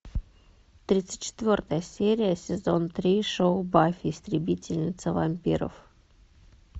тридцать четвертая серия сезон три шоу баффи истребительница вампиров